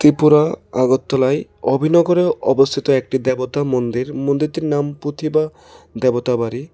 ত্রিপুরা আগরতলায় অভিনগরে অবস্থিত একটি দেবতা মন্দির মন্দিরটির নাম পুথিবা দেবতা বাড়ি।